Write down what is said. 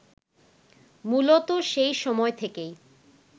মূলত সেই সময় থেকেই